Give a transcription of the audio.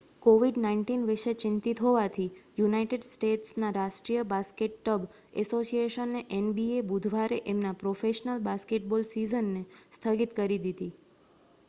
covid-19 વિષે ચિંતિત હોવાથી યુનાઈટેડ સ્ટેટ્સના રાષ્ટ્રીય બાસ્કેટબ એસોસિએશને એનબીએ બુધવારે એમનાં પ્રોફેશનલ બાસ્કેટબોલ સીઝનને સ્થગિત કરી દીધી